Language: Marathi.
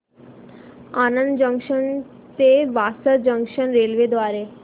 आणंद जंक्शन ते वासद जंक्शन रेल्वे द्वारे